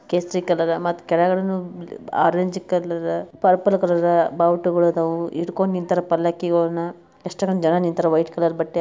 ಕೇಸರಿ ಕಲರ್ ಅದ ಮತ್ತೆ ಕೆಳಗಡೆನು ಆರೆಂಜ್ ಕಲರ್ ಪರ್ಪಲ್ ಕಲರ್ ಬಾವುಟ ಅದಾವು ಹಿಡ್ಕೊಂಡು ನಿಂತವ್ರೆ ಪಲ್ಲಕ್ಕಿ ಅನ್ನ ಎಷ್ಟೊಂದ್ ಜನ ನಿಂತವರೇ ವೈಟ್ ಕಲರ್ ಬಟ್ಟೆ ಹಾಕೊಂಡು